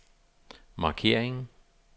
markering